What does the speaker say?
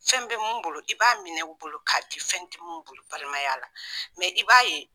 Fɛn bɛ min bolo i b'a minɛ bolo k'a di fɛn tɛ min bolo balimaya la i b'a ye